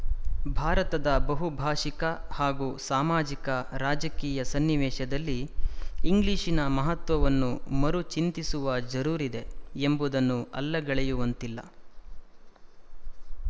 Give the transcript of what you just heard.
ಭಾರತದ ಬಹುಭಾಶಿಕ ಹಾಗೂ ಸಾಮಾಜಿಕರಾಜಕೀಯ ಸನ್ನಿವೇಶದಲ್ಲಿ ಇಂಗ್ಲಿಶಿನ ಮಹತ್ವವನ್ನು ಮರುಚಿಂತಿಸುವ ಜರೂರಿದೆ ಎಂಬುದನ್ನು ಅಲ್ಲಗಳೆಯುವಂತಿಲ್ಲ